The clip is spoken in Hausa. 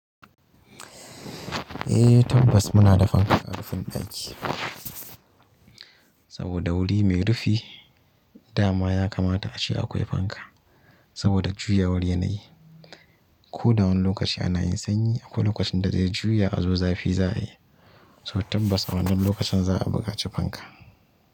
Eh tabbas muna da fanka a rufin ɗaki saboda wuri mai rufi dama ya kamata a ce akwai fanka saboda juyawan yana yi. Ko da wani lokaci ana yin sanyi akwai lokacin da zai juya azo zafi za yi, so tabbas wannan lokacin za a buƙaci fanka.